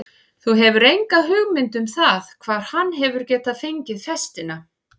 Þú hefur enga hugmynd um það hvar hann hefur getað fengið festina?